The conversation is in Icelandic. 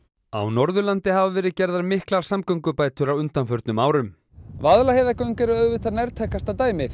á Norðurlandi hafa verið gerðar miklar samgöngubætur á undanförnum árum Vaðlaheiðargöng eru auðvitað nærtækasta dæmið